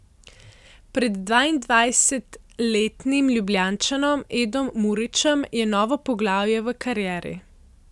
Pred dvaindvajsetletnim Ljubljančanom Edom Murićem je novo poglavje v karieri.